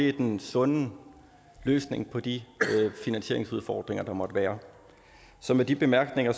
er den sunde løsning på de finansieringsudfordringer der måtte være så med de bemærkninger